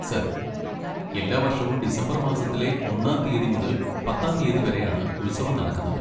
Sir, എല്ലാ വർഷവും December മാസത്തിലെ ഒന്നാം തീയ്യതി മുതൽ പത്താം തീയ്യതി വരെയാണ് ഉത്സവം നടക്കുന്നത്.